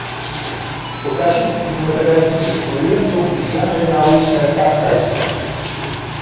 покажи кинематографическую ленту в жанре научная фантастика